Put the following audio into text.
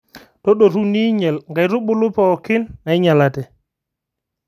Tadotu ninyal inkaitubulu pooki nainyalate